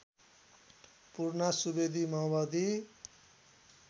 पूर्णा सुवेदी माओवादी